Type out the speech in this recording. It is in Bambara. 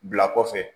Bila kɔfɛ